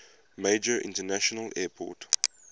major international airport